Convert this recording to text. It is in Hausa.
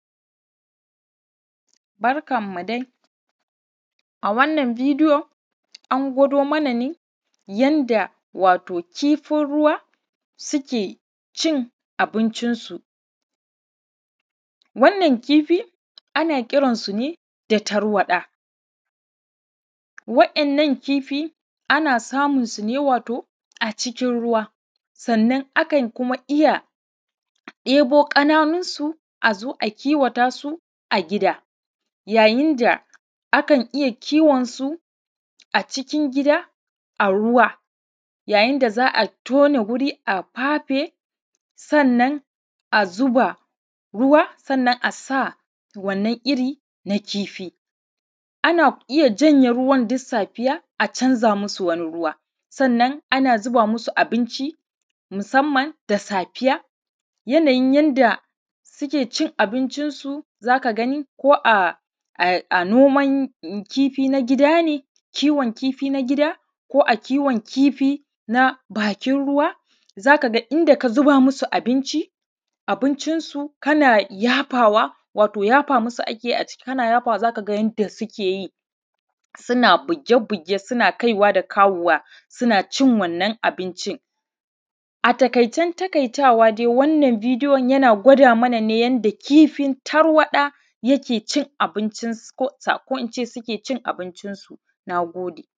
Barkanmu dai, a wannan bidiyo an ɡwaːdo mana nɛ yanda, wato, kifin ruwa sukɛ cin abincinsu, wannan kifi ana kiransu nɛ da tarwaɗa waɗannan kifa ana samun su nɛ wato a cikin ruwa, sannan kuma akan iya ɗebo ƙanaːnunsu a zo a kiwaːta su a ɡida. Yayin da akan iya kiwon su a cikin ɡida a ruwa, yayin da zaː a tona wuri na fafe, sannan a zuba ruwa, sannan a sa wannan iri na kifi. Ana iya canza ruwaːn a canza musu duk safiya, sannan ana sanya musu abinci, musamman da safiya, yanaːyin yanda sukɛ cin abincinsu zaː ka ɡani, ko a noman kifi na ɡida kiwon kifi na ɡida ko a kiwon kifi na bakin ruwa, aka ɡaː in fa ka zuba musu abinci, abincin kana yafawa wato yafa musu akɛ a ci. Ana yafawa, zaː ka ɡa yanda sukɛ yi, suna buɡe-buɡe, suna kaiwa da dawowa, suna cin wannan abincin. A taƙaːicen taƙaːitawa dai, wannan bidiyon yana ɡwaːda mana nɛ yanda kifin tarwaɗa yake cin abincinsu, ko inː ce yanda sukɛ cin abincinsu. Na ɡodɛ.